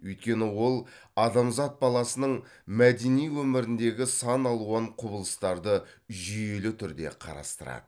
өйткені ол адамзат баласының мәдени өміріндегі сан алуан құбылыстарды жүйелі түрде қарастырады